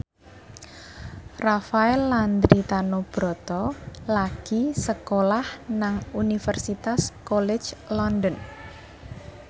Rafael Landry Tanubrata lagi sekolah nang Universitas College London